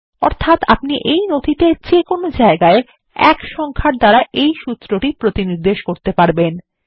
অর্থাত আপনি এই নথিতে যে কোন জায়গায় ১ সংখ্যার দ্বারা এই সূত্রটি প্রতিনির্দেশ করতে পারবেন